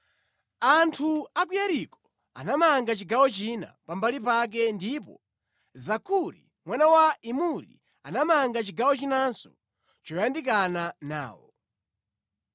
Anthu a ku Yeriko anamanga chigawo china pambali pake ndipo Zakuri mwana wa Imuri anamanga chigawo chinanso choyandikana nawo.